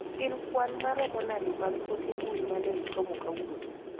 Gin kwan maromo nade mag ote mbui mane isomo kawuono